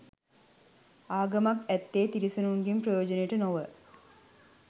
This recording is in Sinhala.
ආගමක් ඇත්තේ තිරිසනුන්ගේ ප්‍රයෝජනය නොව